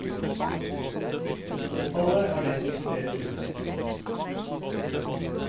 Fåtallet er det som sorteres ut.